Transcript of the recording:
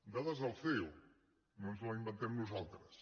dades del ceo no ens les inventem nosaltres